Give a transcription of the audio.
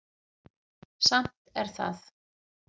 Samt er það